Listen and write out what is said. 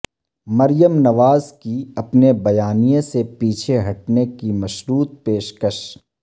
مریم نواز کی اپنے بیانیے سے پیچھے ہٹنے کی مشروط پیشکش